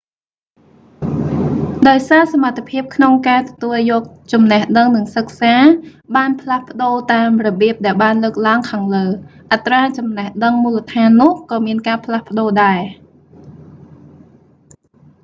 ដោយសារសមត្ថភាពក្នុងការទទួលយកចំណេះដឹងនិងសិក្សា បានផ្លាស់ប្តូរតាមរបៀបដែលបានលើកឡើងខាងលើ អត្រាចំណេះដឹងមូលដ្ឋាននោះក៏មានការផ្លាស់ប្តូរដែរ